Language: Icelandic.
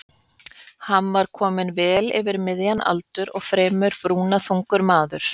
Hann var kominn vel yfir miðjan aldur og fremur brúnaþungur maður.